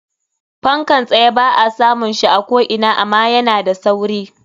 Fankan tsye ba a samun shi a ko ina ama yana da sauri.